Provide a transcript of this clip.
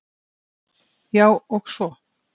Já, og svo.